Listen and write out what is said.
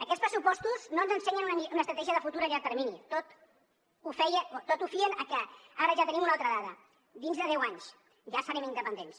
aquests pressupostos no ens ensenyen una estratègia de futur a llarg termini tot ho fien a que ara ja tenim una altra dada dins de deu anys ja serem independents